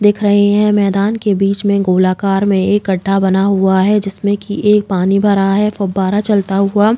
दिख रहे हैं। मैदान के बीच में गोलाकार में एक गढ्ढा बना हुआ है जिसमे कि एक पानी भरा है फुब्बारा चलता हुआ।